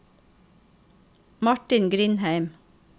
Martin Grindheim